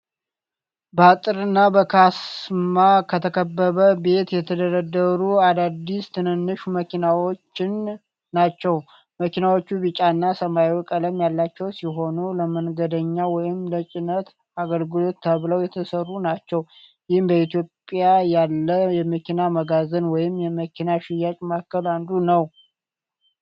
በአጥርና በካስማ ከተከበበ ቦታ የተደረደሩ አዳዲስ ትንንሽ መኪናዎችን ናቸው። መኪናዎቹ ቢጫና ሰማያዊ ቀለም ያላቸው ሲሆን ለመንገደኛ ወይም ለጭነት አገልግሎት ተብለው የተሠሩ ናቸው። ይህ በኢትዮጵያ ያለ የመኪና መጋዘን ወይም መኪና ሽያጭ ማዕከል አንዱ ነው።